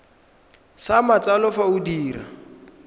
sa matsalo fa o dira